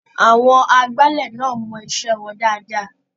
Àwọn agbálẹ̀ náà mọ iṣẹ́ wọn ṣe dáadáa.